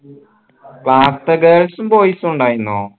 class ത്തെ girls ഉം boys ഉം ഇണ്ടായിരുന്നോ